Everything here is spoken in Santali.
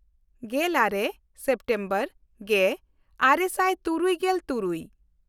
ᱜᱮᱞᱟᱨᱮ ᱥᱮᱯᱴᱮᱢᱵᱚᱨ ᱜᱮᱼᱟᱨᱮ ᱥᱟᱭ ᱛᱩᱨᱩᱭᱜᱮᱞ ᱛᱩᱨᱩᱭ